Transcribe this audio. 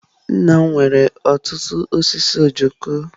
Nna m nwere ọtụtụ osisi ojoko.